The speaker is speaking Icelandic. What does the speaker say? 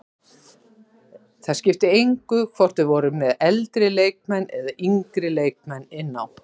Það skipti engu hvort við vorum með eldri leikmenn eða yngri leikmenn inn á.